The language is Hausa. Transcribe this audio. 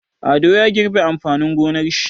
Ado ya girbe amfanin gonar shi.